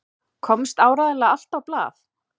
Komst áreiðanlega allt á blað?